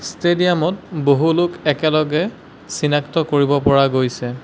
Stadium ত বহু লোক একেলগে চিনাক্ত কৰিব পৰা গৈছে।